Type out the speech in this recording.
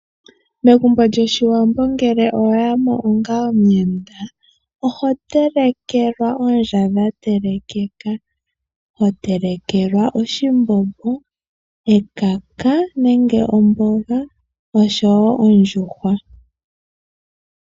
Megumbo lyOshiwambo ngele owa ya mo onga omuyenda, oho telekelwa oondja dha telekeka. Ho telekelwa oshimbombo, ekaka nenge omboga, oshowo ondjuhwa.